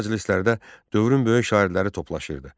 Belə məclislərdə dövrün böyük şairləri toplaşırdı.